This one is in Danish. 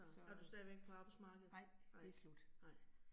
Er du stadigvæk på arbejdsmarkedet? Nej, nej